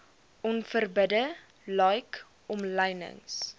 onverbidde like omlynings